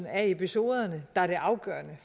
af episoderne der er det afgørende